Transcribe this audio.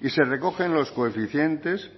y se recogen los coeficientes